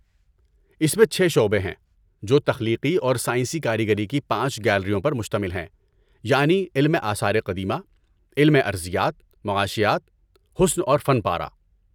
اس میں چھ شعبے ہیں جو تخلیقی اور سائنسی کاریگری کی پانچ گیلریوں پر مشتمل ہیں، یعنی علم آثار قدیمہ، علم ارضیات، معاشیات، حسن اور فن پارہ۔